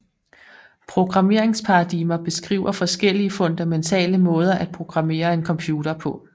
Programmeringsparadigmer beskriver forskellige fundamentale måder at programmere en computer på